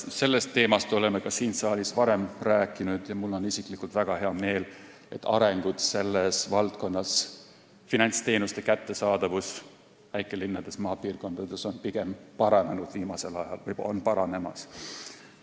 Sellest teemast oleme siin saalis varemgi rääkinud ja mul on isiklikult väga hea meel, et see valdkond – finantsteenuste kättesaadavus väikelinnades ja maapiirkondades – on viimasel ajal pigem paranenud või on paranemas.